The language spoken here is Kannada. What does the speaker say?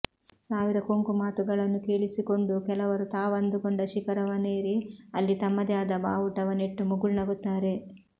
ಸಾವಿರ ಕೊಂಕು ಮಾತುಗಳನ್ನು ಕೇಳಿಸಿಕೊಂಡೂ ಕೆಲವರು ತಾವಂದುಕೊಂಡ ಶಿಖರವನೇರಿ ಅಲ್ಲಿ ತಮ್ಮದೇ ಆದ ಬಾವುಟವ ನೆಟ್ಟು ಮುಗುಳು ನಗುತ್ತಾರೆ